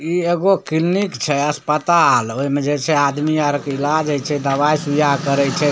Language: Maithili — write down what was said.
इ एकगो क्लिनिक छे अस्पताल ओय में जे छे आदमी अर के इलाज हय छे दवाए सुइया करे छे।